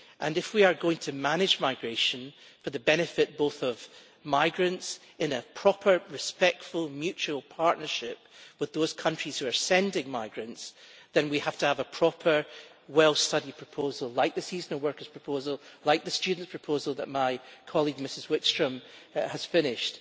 If we are going to manage migration for the benefit of migrants in a proper respectful mutual partnership with those countries who are sending migrants, then we have to have a proper well studied proposal, like the seasonal workers proposal or the student proposal that my colleague Ms Wikström has finished.